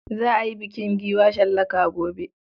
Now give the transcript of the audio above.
Za a yi bukin giwa shallaka gobe.